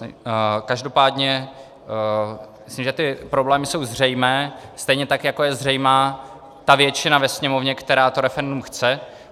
Každopádně myslím, že ty problémy jsou zřejmé, stejně tak jako je zřejmá ta většina ve Sněmovně, která to referendum chce.